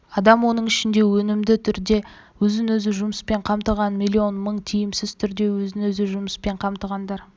адам оның ішінде өнімді түрде өзін-өзі жұмыспен қамтығандар миллион мың тиімсіз түрде өзін-өзі жұмыспен қамтығандар